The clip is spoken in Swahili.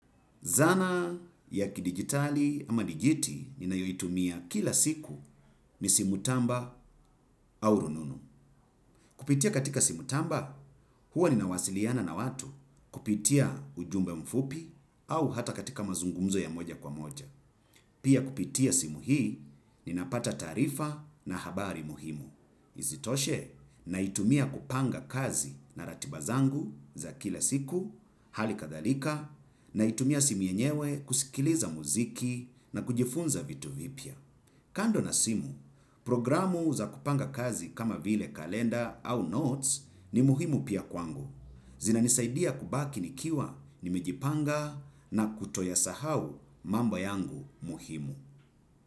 Zana ya kidigitali ama digiti ninayo itumia kila siku ni simu tamba au rununu. Kupitia katika simu tamba huwa ninawasiliana na watu kupitia ujumbe mfupi au hata katika mazungumzo ya moja kwa moja. Pia kupitia simu hii nina pata tarifa na habari muhimu. Izitoshe naitumia kupanga kazi na ratiba zangu za kila siku, hali kadhalika, naitumia simu yenyewe kusikiliza muziki na kujifunza vitu vipya. Kando na simu, programu za kupanga kazi kama vile kalenda au notes ni muhimu pia kwangu. Zina nisaidia kubaki nikiwa nimeijipanga na kutoyasahau mambo yangu muhimu.